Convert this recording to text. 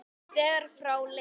þegar frá leið.